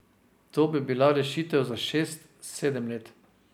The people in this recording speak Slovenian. To bi bila rešitev za šest, sedem let.